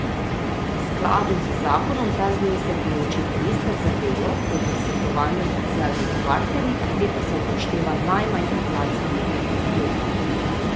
V skladu z zakonom ta znesek določi minister za delo po posvetovanju s socialnimi partnerji, pri tem pa se upošteva najmanj inflacijo preteklega leta.